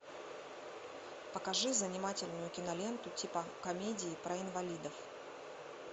покажи занимательную киноленту типа комедии про инвалидов